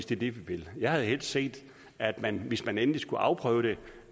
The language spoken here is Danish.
det vi vil jeg havde helst set at man hvis man endelig skulle afprøve det